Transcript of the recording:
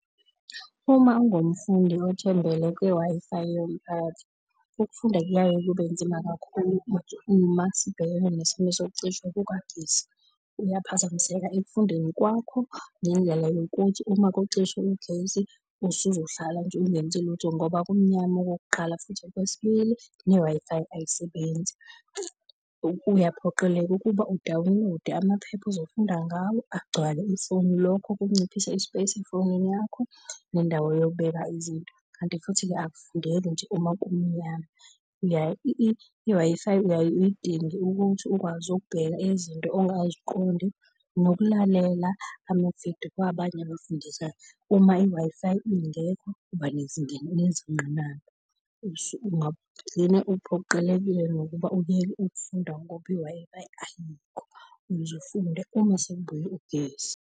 Uma ungumfundi othembele kw-Wi-Fi yomphakathi, ukufunda kuyaye kube nzima kakhulu uma sibhekene nesimo sokucishwa kukagesi. Uyaphazamiseka ekufundeni kwakho ngendlela yokuthi uma kucishwa ugesi usuzohlala nje ungenzi lutho ngoba kumnyama okokuqala. Futhi okwesibili ne-Wi-Fi ayisebenzi, uya uphoqeleke ukuba u-download-e amaphepha uzofunda ngawo agcwale ifoni. Lokho kunciphisa i-space efonini yakho nendawo yokubeka izinto. Kanti futhi-ke akufundeki nje uma kumnyama. I-Wi-Fi uyaye uyidinge ukuthi ukwazi ukubheka izinto ongaziqondi, nokulalela ama-video kwabanye abafundisayo. Uma i-Wi-Fi ingekho uba nezingqinamba, ungagcine uphoqelekile nokuba ukuyeke ukufunda ngoba i-Wi-Fi ayikho, uzufunde uma sekubuye ugesi.